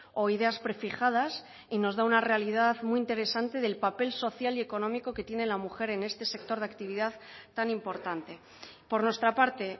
o ideas prefijadas y nos da una realidad muy interesante del papel social y económico que tiene la mujer en este sector de actividad tan importante por nuestra parte